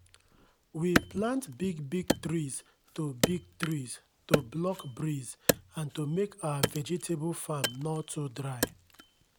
we plant big big trees to big trees to block breeze and to make our vegetable farm nor too dry